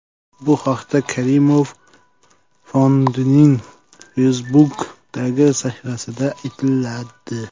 Bu haqda Karimov fondining Facebook’dagi sahifasida aytiladi .